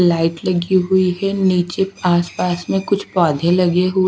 light लगी हुई है नीचे आस पास मे कुछ पौधे लगे हुए--